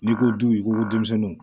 N'i ko du i ko ko denmisɛnninw